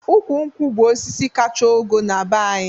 Ụkwụ nkwụ bụ osisi kacha ogo na-be anyị